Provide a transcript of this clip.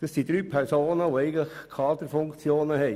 Das sind drei Personen, die Kaderfunktionen innehaben: